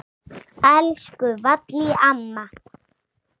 Elsku Vallý amma.